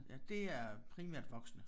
Ja det er primært voksne